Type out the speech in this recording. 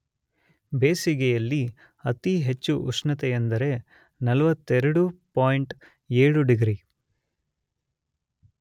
ಬೇಸಿಗೆಯಲ್ಲಿ ಅತಿ ಹೆಚ್ಚು ಉಷ್ಣತೆ ಅಂದರೆ ೪೨.೭ ಡಿಗ್ರಿ